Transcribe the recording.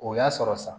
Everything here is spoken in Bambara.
O y'a sɔrɔ sa